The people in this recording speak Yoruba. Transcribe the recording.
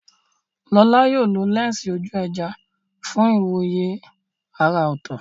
Lola yóò lo lẹ́ńsì ojú ẹja fún ìwòye àrà ọ̀tọ̀.